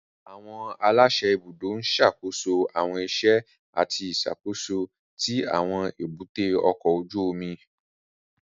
Àwọn aláṣẹ ibùdó ń ṣàkóso àwọn iṣẹ́ àti ìṣàkóso tí àwọn èbúté ọkọ̀ ojú omi